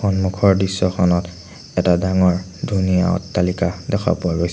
সন্মুখৰ দৃশ্যখনত এটা ডাঙৰ ধুনীয়া অট্টালিকা দেখা পোৱা গৈছে।